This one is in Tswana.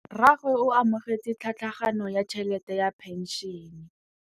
Rragwe o amogetse tlhatlhaganyô ya tšhelête ya phenšene.